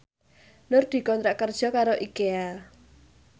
Nur dikontrak kerja karo Ikea